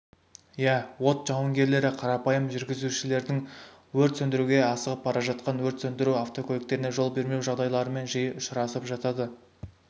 иә от жауынгерлері қарапайым жүргізушілердің өрт сөндіруге асығып бара жатқан өрт сөндіру автокөліктеріне жол бермеу жағдайларымен жиі ұшырасып жатады